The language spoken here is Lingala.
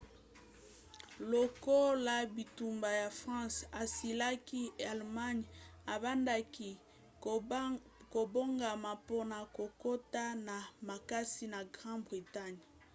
lokola bitumba ya france esilaki allemagne ebandaki kobongama mpona kokota na makasi na grande-bretagne